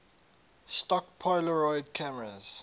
stock polaroid cameras